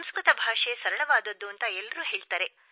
ಸಂಸ್ಕೃತ ಭಾಷೆ ಸರಳವಾದದ್ದು ಎಂದು ಎಲ್ಲರೂ ಹೇಳುತ್ತಾರೆ